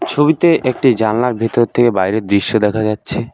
ছবিতে একটি জালনার ভিতর থেকে বাইরের দৃশ্য দেখা যাচ্ছে।